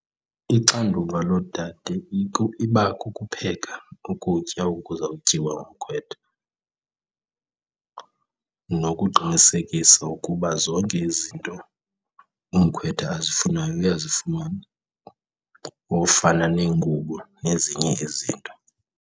Ixanduva loodade iba kukupheka ukutya oku kuzawutyiwa ngumkhwetha nokuqinisekisa ukuba zonke izinto umkhwetha azifunayo uyazifumana, ofana neengubo nezinye izinto.